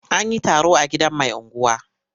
An yi taro a gidan mai unguwa.